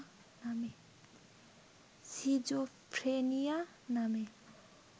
schizophrenia নামে